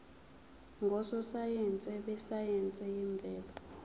ngososayense besayense yemvelo